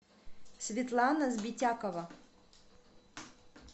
светлана сбитякова